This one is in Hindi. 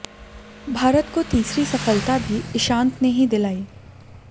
भारत को तीसरी सफलता भी इशांत ने ही दिलाई